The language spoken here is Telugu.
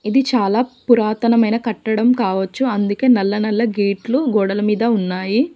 ఇది చాలా పురాతనమైన కట్టడం కావొచ్చు. అందుకే నల్ల నల్ల గేట్లు గోడల మీద ఉన్నాయి.